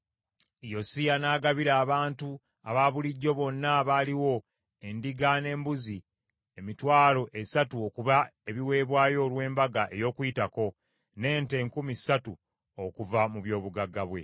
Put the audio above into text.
Yosiya n’agabira abantu abaabulijjo bonna abaaliwo endiga n’embuzi emitwalo esatu okuba ebiweebwayo olw’Embaga ey’Okuyitako, n’ente enkumi ssatu okuva mu byobugagga bwe.